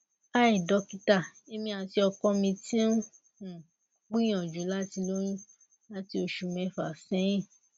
hi dokita emi ati ọkọ mi ti n um gbiyanju lati loyun lati oṣu mẹfa sẹhin